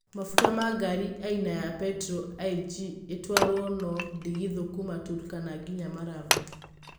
Mafuta ya gari aina ya petro ĩg ĩtwarwo na ndigithũ kuuma Turkana nginya Marava